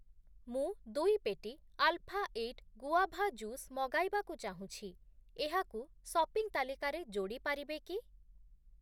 ମୁଁ ଦୁଇ ପେଟି ଆଲ୍‌ଫା ଏଇଟ୍‌ ଗୁଆଭା ଜୁସ୍‌ ମଗାଇବାକୁ ଚାହୁଁଛି, ଏହାକୁ ସପିଂ ତାଲିକାରେ ଯୋଡ଼ି ପାରିବେ କି?